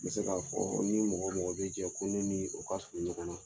N bɛ se k'a fɔ ni mɔgɔ mɔgɔ bɛ jɛ ko ne ni o ka surun ɲɔgɔn na